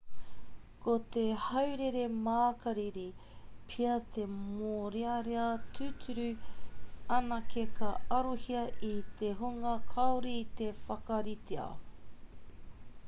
ko te haurere makariri pea te mōrearea tūturu anake ka arohia e te hunga kāore i te whakaritea